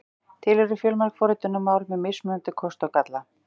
Til eru fjölmörg forritunarmál með mismunandi kosti og galla.